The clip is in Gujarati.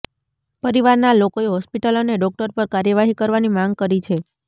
પરિવારનાં લોકોએ હોસ્પિટલ અને ડોક્ટર પર કાર્યવાહી કરવાની માંગ કરી છે